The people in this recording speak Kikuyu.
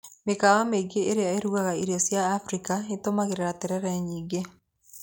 Mĩkawa mĩingĩ ĩrĩa ĩrugaga irio cia Abirika itũmagira terere nyingĩ.